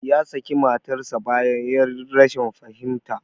Ya saki matarsa ​​bayan 'yar rashin fahimta.